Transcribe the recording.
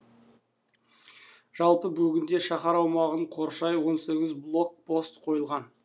жалпы бүгінде шаһар аумағын қоршай он сегіз блокпост қойылған